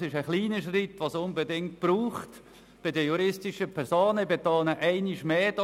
Es ist ein kleiner Schritt, den es bei den juristischen Personen unbedingt braucht.